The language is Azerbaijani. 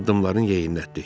Addımlarını yeyinlətdi.